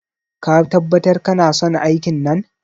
Ka tabbatar kanason aikin nan?